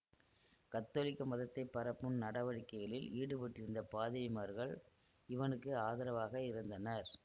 கத்தோலிக்க மதத்தை பரப்பும் நடவடிக்கைகளில் ஈடுபட்டிருந்த பாதிரிமார்கள் இவனுக்கு ஆதரவாக இருந்தனர்